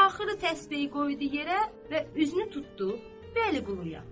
axırı təsbehi qoydu yerə və üzünü tutdu Vəliquluya.